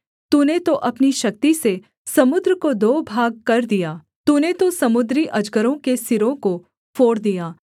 तूने तो अपनी शक्ति से समुद्र को दो भागकर दिया तूने तो समुद्री अजगरों के सिरों को फोड़ दिया